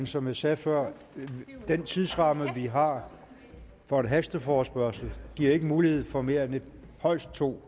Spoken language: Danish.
som jeg sagde før giver den tidsramme vi har for en hasteforespørgsel ikke mulighed for mere end højst to